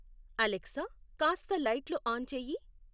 Alexa కాస్త లైట్లు on చేయి